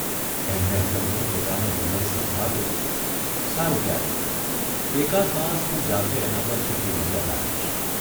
એમણે અટલને પોતાનો નિર્ણય સંભળાવ્યો સારૂં ત્યારે, એકાદ માસ હું જાતે એના પર છુપી નજર રાખીશ.